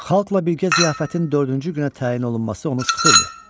Xalqla birgə ziyafətin dördüncü günə təyin olunması onu sıxırdı.